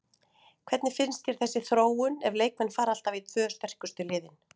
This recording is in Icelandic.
Hvernig finnst þér þessi þróun ef leikmenn fara alltaf í tvö sterkustu liðin?